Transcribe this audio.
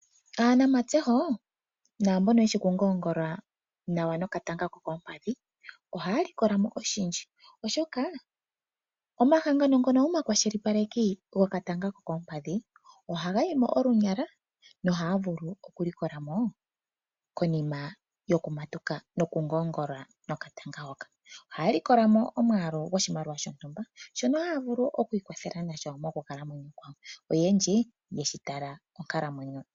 Aanamatseho naa mbono yeshi okungoongola nawa nokatanga kokoompadhi, oshoka omahangano ngono gomakwashilipaleki, ohaga yi mo olunyala nohaya vulu okulikola mo konima yokumatuka. Ohaya likola mo omwaalu gwoshimaliwa shontumba shono haya vulu okwiikwathela nasho oyendji, oye shi tala onkalamwenyo.